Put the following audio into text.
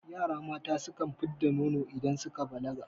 Yara mata sukan fid da nono idan suka balaga